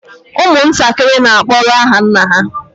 Ụmụntakịrị n'akpọrọ aha nna ha